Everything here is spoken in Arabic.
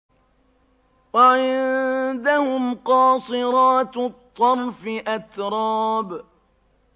۞ وَعِندَهُمْ قَاصِرَاتُ الطَّرْفِ أَتْرَابٌ